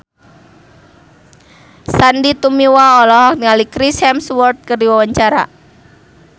Sandy Tumiwa olohok ningali Chris Hemsworth keur diwawancara